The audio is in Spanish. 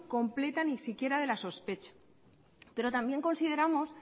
completa ni si quieres de la sospecha pero también consideramos